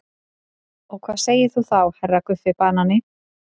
Og hvað segir þú þá HERRA Guffi banani?